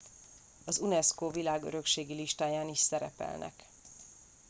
az unesco világörökségi listáján is szerepelnek